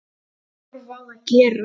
Ég horfi á það gerast.